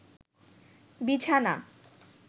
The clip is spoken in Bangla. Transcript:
বিছানা